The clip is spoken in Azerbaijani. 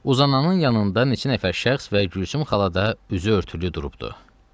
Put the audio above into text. Uzanannın yanında neçə nəfər şəxs və Gülsüm xala da üzü örtülü durubdu.